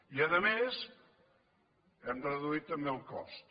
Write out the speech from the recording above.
i a més n’hem reduït també el cost